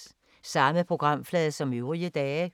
Samme programflade som øvrige dage